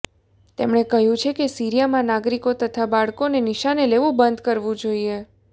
તેમણે કહ્યું છે કે સીરિયામાં નાગરિકો તથા બાળકોને નિશાને લેવાનું બંધ કરવું જોઇએ